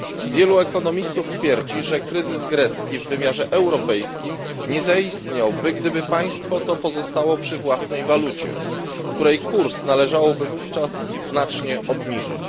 Wielu ekonomistów twierdzi, że kryzys grecki w wymiarze europejskim nie zaistniałby, gdyby państwo to pozostało przy własnej walucie, której kurs należałoby wówczas znacznie obniżyć.